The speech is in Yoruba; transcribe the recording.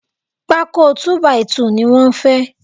Pákó “2 by 2” ni wọ́n fẹ́